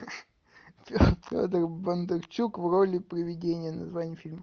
федор бондарчук в роли приведения название фильма